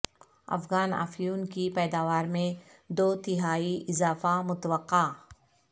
افغان افیون کی پیداوار میں دو تہائی اضافہ متوقع